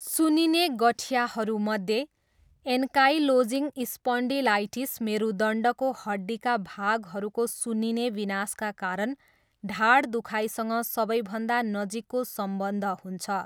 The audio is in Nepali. सुन्निने गठियाहरूमध्ये, एन्काइलोजिङ स्पन्डिलाइटिस मेरुदण्डको हड्डीका भागहरूको सुन्निने विनाशका कारण ढाड दुखाइसँग सबैभन्दा नजिकको सम्बन्ध हुन्छ।